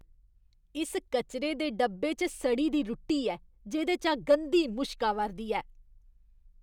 इस कचरे दे डब्बे च सड़ी दी रुट्टी ऐ जेह्‌दे चा गंदी मुश्क आवा'रदी ऐ।